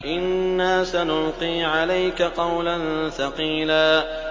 إِنَّا سَنُلْقِي عَلَيْكَ قَوْلًا ثَقِيلًا